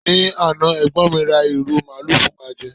ni Ana egbon mi ra iru maalu fún wa je